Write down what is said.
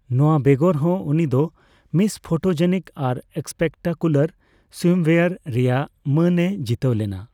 ᱱᱚᱣᱟ ᱵᱮᱜᱚᱨ ᱦᱚᱸ, ᱩᱱᱤ ᱫᱚ ᱢᱤᱥ ᱯᱷᱚᱴᱚᱡᱮᱱᱤᱠ ᱟᱨ ᱥᱯᱮᱠᱴᱟᱠᱩᱞᱟᱨ ᱥᱩᱭᱤᱢᱳᱭᱮᱭᱟᱨ ᱼᱨᱮᱭᱟᱜ ᱢᱟᱹᱱ ᱮ ᱡᱤᱛᱟᱹᱣ ᱞᱮᱱᱟ ᱾